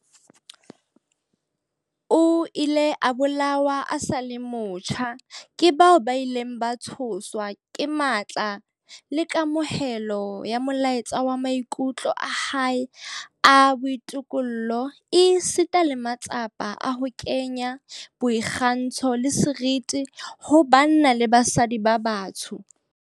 O ile a bolawa a sa le motjha tjha ke bao ba ileng ba tshoswa ke matla le kamohelo ya molaetsa wa maikutlo a hae a boitokollo esita le matsapa a hae a ho kenya boikgantsho le seriti ho banna le basadi ba batsho.